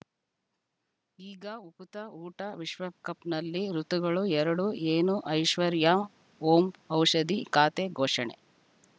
ಈಗ ಉಕುತ ಊಟ ವಿಶ್ವಕಪ್‌ನಲ್ಲಿ ಋತುಗಳು ಎರಡು ಏನು ಐಶ್ವರ್ಯಾ ಓಂ ಔಷಧಿ ಖಾತೆ ಘೋಷಣೆ